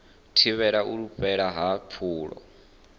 thivhele u fhela ha pfulo